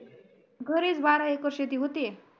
घरीच बारा एकर शेती होते